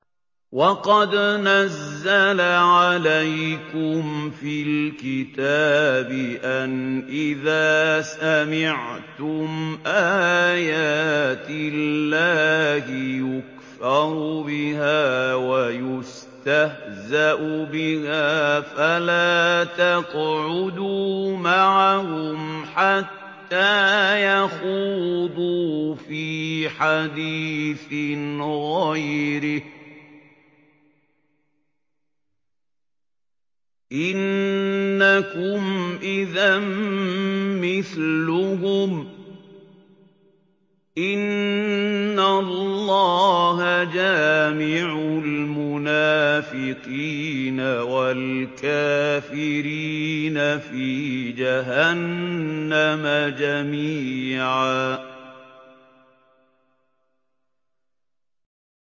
وَقَدْ نَزَّلَ عَلَيْكُمْ فِي الْكِتَابِ أَنْ إِذَا سَمِعْتُمْ آيَاتِ اللَّهِ يُكْفَرُ بِهَا وَيُسْتَهْزَأُ بِهَا فَلَا تَقْعُدُوا مَعَهُمْ حَتَّىٰ يَخُوضُوا فِي حَدِيثٍ غَيْرِهِ ۚ إِنَّكُمْ إِذًا مِّثْلُهُمْ ۗ إِنَّ اللَّهَ جَامِعُ الْمُنَافِقِينَ وَالْكَافِرِينَ فِي جَهَنَّمَ جَمِيعًا